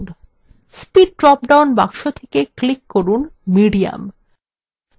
speed drop down বাক্সে থেকে click করুন medium